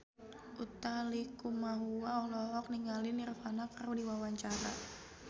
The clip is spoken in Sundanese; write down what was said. Utha Likumahua olohok ningali Nirvana keur diwawancara